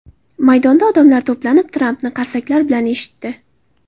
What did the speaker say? Maydonda odamlar to‘planib, Trampni qarsaklar bilan eshitdi.